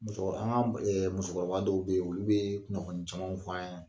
Musokɔrɔ, an ka musokɔrɔba dɔw bɛ yen olu bɛ kunnafonni caman fɔ an ɲɛna.